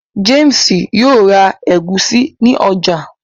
James yóò rá egusi ní ọjà.